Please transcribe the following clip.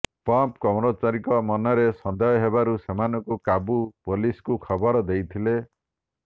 pump କର୍ମଚାରୀଙ୍କ ମନରେ ସନ୍ଦେହ ହେବାରୁ ସେମାନଙ୍କୁ କାବୁ ପୋଲିସ୍କୁ ଖବର ଦେଇଥିଲେ